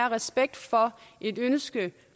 og respekt for et ønske